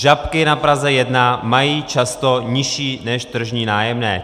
Žabky na Praze 1 mají často nižší než tržní nájemné.